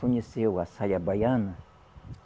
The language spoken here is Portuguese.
Conheceu a saia baiana?